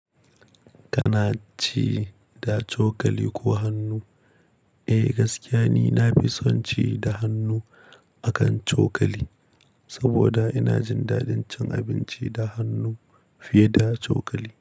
Kana ci da cokali ko hannu? Eh gaskiya ni na fi son ci da hannu akan cokali, saboda ina jin daɗin cin abinci da hannu fiye da cokali.